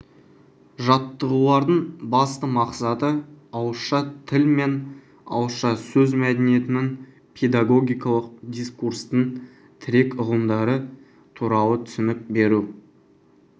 жаттығулардың басты мақсаты ауызша тіл мен ауызша сөз мәдениетінің педагогикалық дискурстың тірек ұғымдары туралы түсінік беру